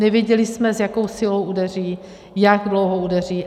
Nevěděli jsme, s jakou silou udeří, jak dlouho udeří.